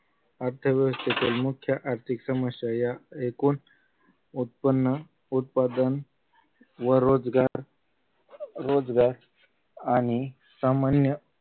अर्थव्यवस्थेतील मुख्य आर्थिक समस्या या ऐकून उत्पन्न उत्पादन व रोजगार रोजगार आणि सामान्य